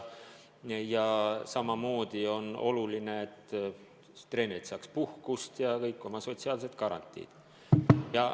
Ja samamoodi on oluline, et treenerid saaks puhkust ja neile kehtiks ka kõik muud sotsiaalsed garantiid.